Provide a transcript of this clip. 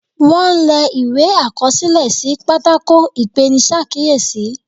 Wón le ìwé àkọsílẹ̀ sí pátákó ipenisakiyesi.